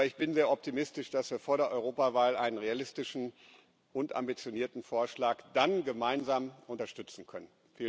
Aber ich bin sehr optimistisch, dass wir vor der Europawahl einen realistischen und ambitionierten Vorschlag dann gemeinsam unterstützen können.